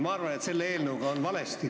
Ma arvan, et selle eelnõuga on midagi väga valesti.